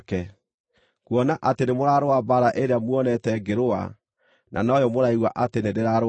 kuona atĩ nĩmũrarũa mbaara ĩrĩa muonete ngĩrũa, na noyo mũraigua atĩ nĩ ndĩrarũa o na rĩu.